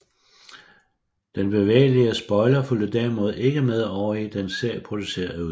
Den bevægelige spoiler fulgte derimod ikke med over i den serieproducerede udgave